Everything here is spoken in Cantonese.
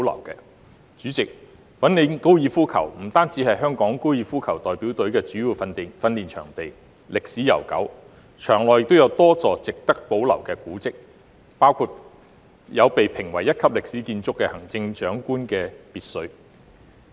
代理主席，粉嶺高爾夫球場是香港高爾夫球代表隊的主要訓練場地，歷史悠久，場內有多座值得保留的古蹟，包括被評為一級歷史建築的行政長官別墅。